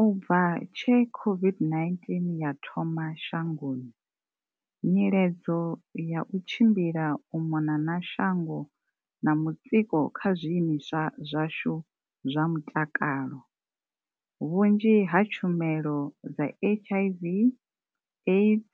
U bva tshe COVID-19 ya thoma shangoni, nyiledzo ya u tshimbila u mona na shango na mutsiko kha zwi imiswa zwashu zwa mutakalo, vhunzhi ha tshumelo dza HIV, AIDS